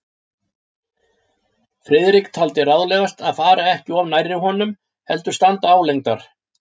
Friðrik taldi ráðlegast að fara ekki of nærri honum, heldur standa álengdar.